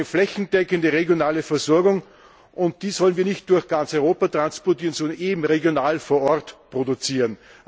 Wir brauchen da eine flächendeckende regionale Versorgung, und die Milch sollen wir nicht durch ganz Europa transportieren, sondern eben regional vor Ort produzieren.